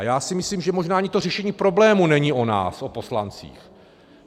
A já si myslím, že možná ani to řešení problému není o nás, o poslancích.